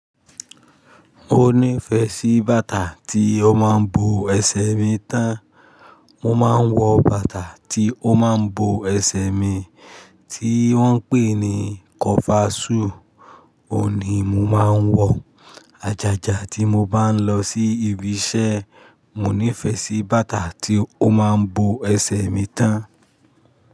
Mo nífẹ̀ẹ́ sí bàtà tí ó máa ń bo ẹsẹ̀ mi tán. Mo máa ń wọ bàtà tí ó máa ń bo ẹsẹ̀ mi, tí wọ́n ń pè ní kọfasù. Ó ni mo máa ń wọ àjàjà tí mo bá ń lọ sí ibi iṣẹ́. Mo nífẹ̀ẹ́ sí bàtà tí ó máa ń bo ẹsẹ̀ mi tán.